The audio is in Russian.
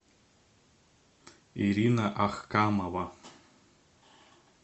ирина ахкамова